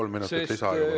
Kolm minutit lisaaega, palun!